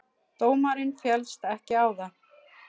Dómarinn féllst ekki á það.